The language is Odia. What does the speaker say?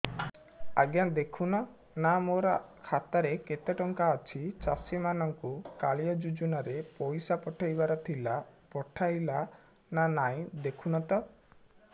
ଆଜ୍ଞା ଦେଖୁନ ନା ମୋର ଖାତାରେ କେତେ ଟଙ୍କା ଅଛି ଚାଷୀ ମାନଙ୍କୁ କାଳିଆ ଯୁଜୁନା ରେ ପଇସା ପଠେଇବାର ଥିଲା ପଠେଇଲା ନା ନାଇଁ ଦେଖୁନ ତ